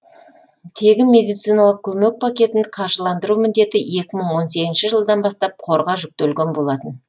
тегін медициналық көмек пакетін қаржыландыру міндеті екі мың он сегізінші жылдан бастап қорға жүктелген болатын